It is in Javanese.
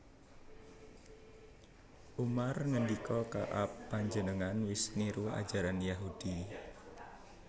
Umar ngendika Ka ab Panjenengan wis niru ajaran Yahudi